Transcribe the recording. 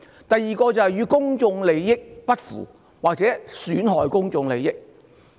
第二個元素是不符或損害公眾利益。